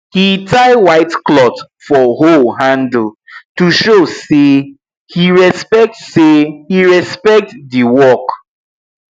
he tie white cloth for hoe handle to show say he respect say he respect the work